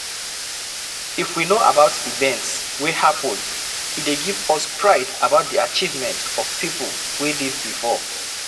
If we know about events wey happen e dey give us pride about di achievement of pipo wey live before